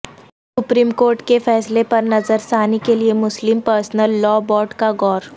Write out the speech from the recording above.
supreme Court کے فیصلہ پر نظرثانی کیلئے مسلم پرسنل لا بورڈ کا غور